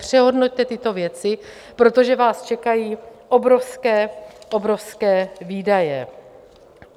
Přehodnoťte tyto věci, protože vás čekají obrovské, obrovské výdaje.